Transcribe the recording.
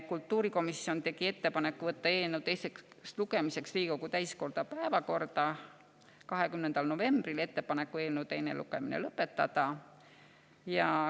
Kultuurikomisjon tegi ettepaneku võtta eelnõu teiseks lugemiseks Riigikogu täiskogu päevakorda 20. novembril ja eelnõu teine lugemine lõpetada.